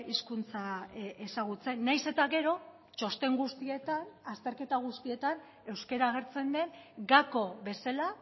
hizkuntza ezagutzen nahiz eta gero txosten guztietan azterketa guztietan euskara agertzen den gako bezala